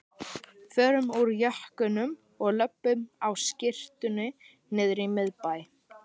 Förum úr jökkunum og löbbum á skyrtunni niðrí miðbæ!